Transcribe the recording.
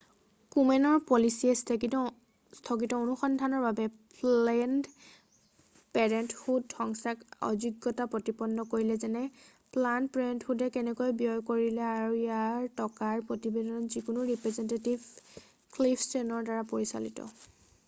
কোমেনৰ পলিচিয়ে স্থগিত অনুসন্ধানৰ বাবে প্লেনড পেৰেণ্টহুড সংস্থাক অযোগ্যতা প্ৰতিপন্ন কৰিলে যেনে প্লানড পেৰেণ্টহুডে কেনেকৈ ব্যয় কৰিলে আৰু ইয়াৰ টকাৰ প্ৰতিবেদন যিবোৰ ৰিপ্ৰেজেণ্টেটিভ ক্লিফ ষ্টেৰ্ণৰ দ্বাৰা পৰিচালিত